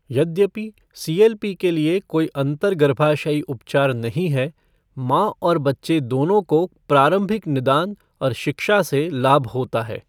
यद्यपि C L P के लिए कोई अंतर्गर्भाशयी उपचार नहीं है, मां और बच्चे दोनों को प्रारंभिक निदान और शिक्षा से लाभ होता है।